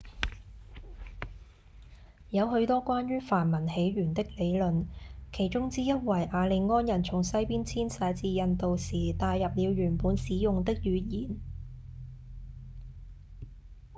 有許多關於梵文起源的理論其中之一為雅利安人從西方遷徙至印度時帶入了原本使用的語言